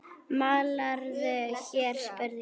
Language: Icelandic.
Málarðu hér? spurði ég.